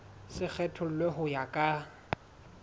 se kgethollwe ho ya ka